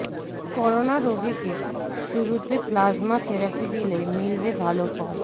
corona রোগীকে শুরুতে plasma therapy দিলে মিলবে ভালো ফল